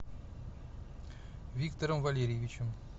виктором валерьевичем